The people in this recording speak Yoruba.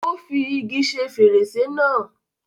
Ó fi igi ṣe fèrèsé náà